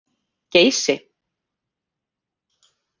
Geysi